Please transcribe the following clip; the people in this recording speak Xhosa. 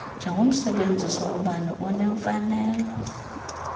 njengomsebenzisi wombane unemfanelo